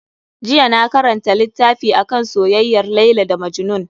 Jiya na karanta littafi akan soyayyar Laila da Majnun.